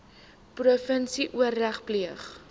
provinsie oorleg pleeg